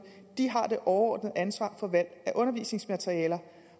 har det overordnede ansvar for valg af undervisningsmaterialer